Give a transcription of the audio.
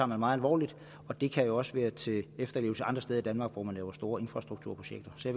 meget alvorligt det kan jo også være til efterlevelse andre steder i danmark hvor man laver store infrastrukturprojekter så